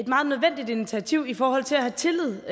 meget nødvendigt initiativ i forhold til at have tillid